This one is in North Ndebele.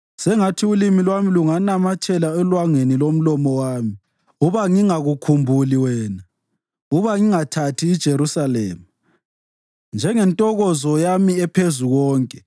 Sengathi ulimi lwami lunganamathela elwangeni lomlomo wami uba ngingakukhumbuli wena, uba ngingathathi iJerusalema njengentokozo yami ephezu konke.